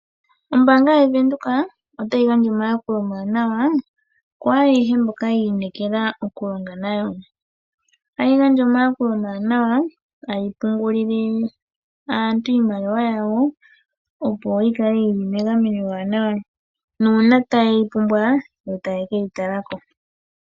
Ombaanga yaVenduka otayi gandja omayakulo omawanawa ku ayehe mboka yi inekela okulonga nayo. Otayi gandja omayakulo omawanawa, tayi pungulile aantu iimaliwa yawo, opo yi kale yi li megameno ewanawa nuuna taye yi pumbwa yo taye ke yi tala ko.